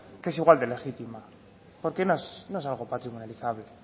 que es igual de legítimo porque no es algo patrimonializable